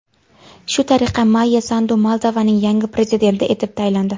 Shu tariqa Mayya Sandu Moldovaning yangi prezidenti etib saylandi.